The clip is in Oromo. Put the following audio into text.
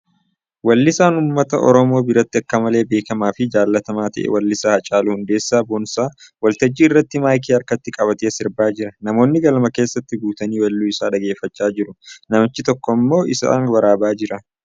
Weellisaan uumnata Oromoo biratti akka malee beekamaa fi jaallatamaa ta'e weellisaa Haacaaluu Hundeessaa Boonsaa waltajjii irratti maayikii harkatti qabatee sirbaa jira. Namoonni galma keessa guutanii weelluu isaa dhaggeeffachaa jiru. Namichi tokko immoo isa waraabaa jira.